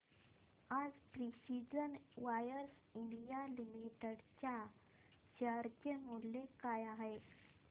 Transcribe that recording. आज precision wires India limited च्या share चे मूल्य काय आहे